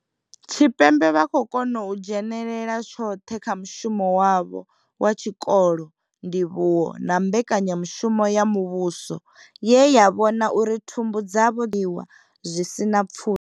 Tshipembe vha khou kona u dzhenela tshoṱhe kha mushumo wavho wa tshikolo, ndivhuwo na mbekanya mushumo ya muvhuso ye ya vhona uri thumbu dzavho dzo ovhoniwa zwi sina pfushi.